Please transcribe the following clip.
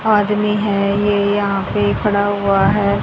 आदमी हैं ये यहा पे खड़ा हुआ है।